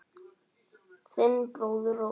Þinn bróðir Óskar.